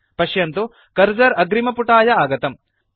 पश्यन्तु कर्सर अग्रिमपुटाय आगतम्